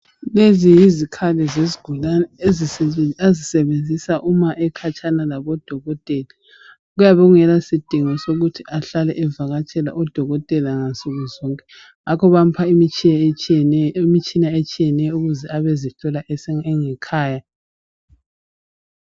Lezi yizikhali sesigulane azisebenzisq uma ekhatshana labodokotela kuyabe kungela sidingo sokuthi ahlale evakatshele odokotela ngansuku zonke ngakho bayamupha imitshina etshiyeneyo ukuze abezihlola engekhaya